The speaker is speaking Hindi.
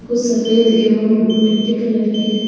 कुछ सफेद एवं मिट्टी कलर के हैं।